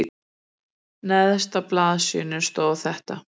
Neðst á blaðsíðunni stóð þetta